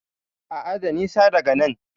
A'a, da nisa daga nan.